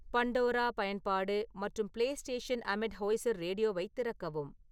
Pandora பயன்பாடு மற்றும் PlayStation அமெட் ஹோய்சர் ரேடியோவைத் திறக்கவும்